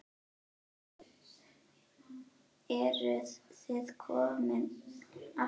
Eruð þið komin aftur?